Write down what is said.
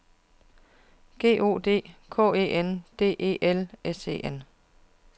G O D K E N D E L S E N